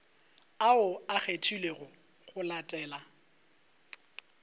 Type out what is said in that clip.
ao a kgethilwego go latela